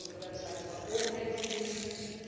Daar gaat het over websites van overheidsdiensten.